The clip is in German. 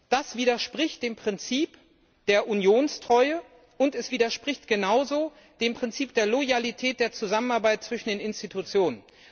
Das widerspricht dem Prinzip der Unionstreue und es widerspricht genauso dem Prinzip der Loyalität der Zusammenarbeit zwischen den Institutionen!